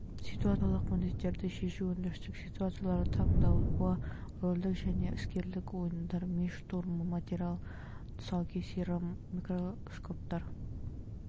ситуациялық міндеттерді шешу өндірістік ситуациялар талдауы рөлдік және іскерлік ойындар ми штурмы материал тұсаукесері микроскоптар